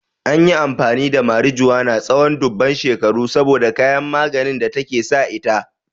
An yi amfani da marijuana tsawon dubban shekaru saboda kayan maganin da take sa ita.